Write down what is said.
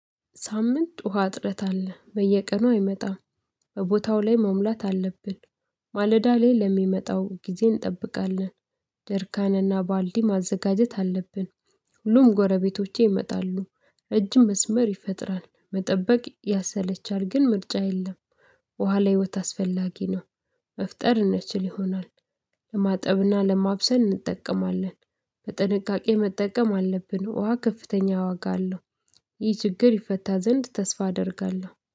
ሳምንት ውሃ እጥረት አለ በየቀኑ አይመጣም። በቦታው ላይ መሙላት አለብን። ማለዳ ላይ ለሚመጣው ጊዜ እንጠብቃለን። ጀርካንና ባልዲ ማዘጋጀት አለብን። ሁሉም ጎረቤቶቼ ይመጣሉ እጅ መስመር ይፈጥራል መጠበቅ ያሰለቻል ግን ምርጫ የለም። ውሃ ላይ ህይወት አስፈላጊ ነው። መፍጠር እንችል ይሆን? ለማጠብና ለማብሰን እንጠቀማለን። በጥንቃቄ መጠቀም አለብን ውሃ ከፍተኛ ዋጋ አለው። ይህ ችግር ይፈታ ዘንድ ተስፋ አደርጋለሁ